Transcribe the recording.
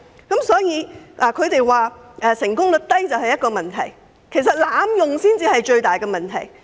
他們認為成功率低是一個問題，但其實濫用程序才是最大問題。